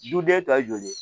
Duden ta joli